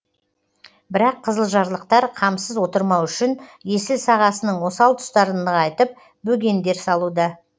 бірақ қызылжарлықтар қамсыз отырмау үшін есіл сағасының осал тұстарын нығайтып бөгендер салуда